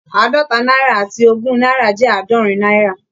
Àádọ́ta náírà àti ogún náírà jẹ́ àádọ́rin náírà